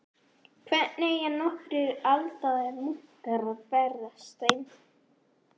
Hvernig eiga nokkrir aldraðir munkar að verjast þeim?